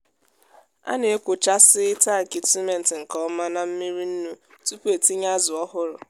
a na-ekwòchásiị́ tankị simenti nke ọma na mmiri nnu tupu e tinye azụ ọhụrụ.